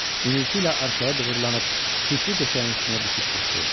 İnilti ilə arxaya dığırlanıb çirkli döşəyin üstünə düşüb qışqırdı.